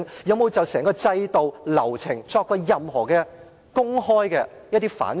有否就整個制度流程作任何公開的反省？